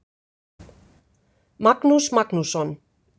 Magnús Magnússon.